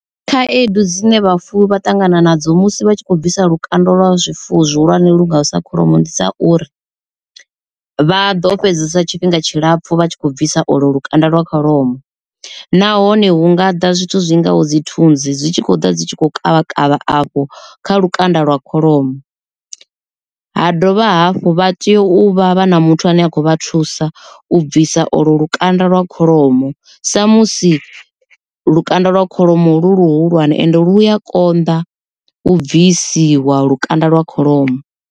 Khaedu dzine vhafuwi vha ṱangana nadzo musi vha tshi kho bvisa lukanda lwa zwifuwo zwihulwane lu ngaho sa kholomo ndi dza uri, vha ḓo fhedzesa tshifhinga tshilapfu vha tshi khou bvisa olo lukanda lwa kholomo. Nahone hu nga ḓa zwithu zwi ngaho dzi thunzi dzi tshi khou ḓa dzi tshi khou kavha kavha afho kha lukanda lwa kholomo, ha dovha hafhu vha tea u vha vha na muthu ane a kho vha thusa u bvisa olo lukanda lwa kholomo sa musi lukanda lwa kholomo lu luhulwane ende lu ya konḓa u bvisiwa lukanda lwa kholomo.